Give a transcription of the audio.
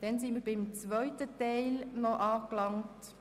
Wir sind beim zweiten Teil der Planungserklärungen angelangt.